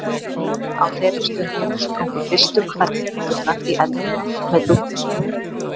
Á þeirri stundu sprungu fyrstu hvellhetturnar í eldinum með dúndrandi hávaða.